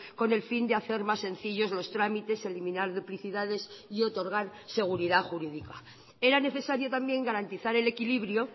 con el fin de hacer más sencillos los trámites eliminar duplicidades y otorgar seguridad jurídica era necesario también garantizar el equilibrio